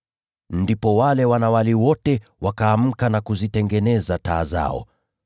“Ndipo wale wanawali wote wakaamka na kuzitengeneza taa zao.